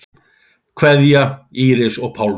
Kveðja, Íris og Pálmi.